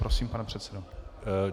Prosím, pane předsedo.